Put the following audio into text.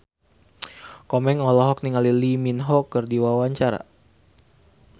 Komeng olohok ningali Lee Min Ho keur diwawancara